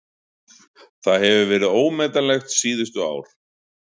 Það hefur verið ómetanlegt síðustu ár!